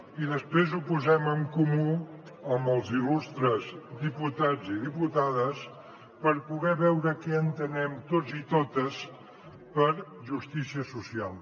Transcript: i després ho posem en comú amb els il·lustres diputats i diputades per poder veure què entenem tots i totes per justícia social